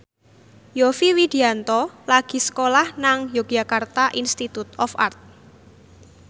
Yovie Widianto lagi sekolah nang Yogyakarta Institute of Art